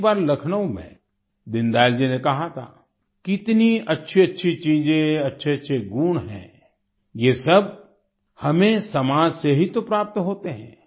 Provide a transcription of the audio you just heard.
एक बार लखनऊ में दीन दयाल जी ने कहा था कितनी अच्छीअच्छी चीजें अच्छेअच्छे गुण हैं ये सब हमें समाज से ही तो प्राप्त होते हैं